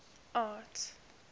art